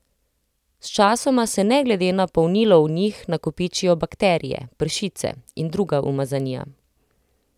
Sčasoma se ne glede na polnilo v njih nakopičijo bakterije, pršice in druga umazanija.